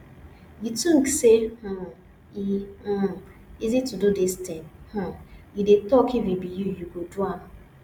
you think say um e um easy to do dis thing um you dey talk if e be you you go do am